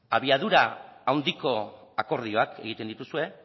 abiadura handiko akordioak egiten dituzue